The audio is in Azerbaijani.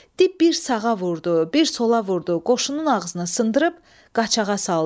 Dib bir sağa vurdu, bir sola vurdu, qoşunun ağzını sındırıb qaçağa saldı.